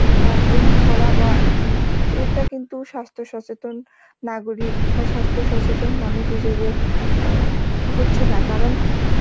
অ্যাঁ গ্রহণ করা বা উম এটা কিন্তু স্বাস্থ্য সচেতন নাগরিক বা স্বাস্থ্য সচেতন মানুষ হিসাবে অ্যাঁ হচ্ছে না কারণ